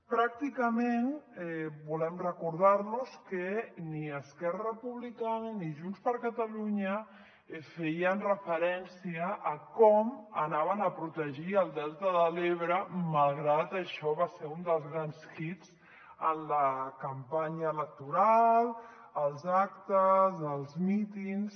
pràcticament volem recordar los que ni esquerra republicana ni junts per catalunya feien referència a com protegirien el delta de l’ebre malgrat que això va ser un dels grans hits en la campanya electoral als actes als mítings